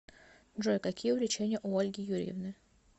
джой какие увлечения у ольги юрьевны